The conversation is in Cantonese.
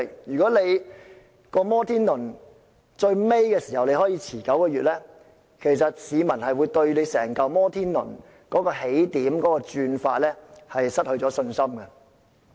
如果"摩天輪"在年度終結時可以延遲9個月，其實會令市民對整個"摩天輪"的起點或運轉方式失去信心。